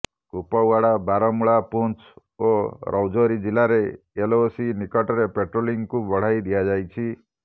କୁପଓ୍ବାଡା ବାରମୁଳା ପୁଂଛ ଓ ରାଜୌରି ଜିଲ୍ଲାରେ ଏଲଓସି ନିକଟରେ ପାଟ୍ରୋଲିଂକୁ ବଢାଇ ଦିଆଯାଇଛି